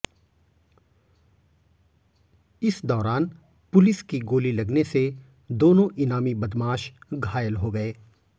इस दौरान पुलिस की गोली लगने से दोनों इनामी बदमाश घायल हो गए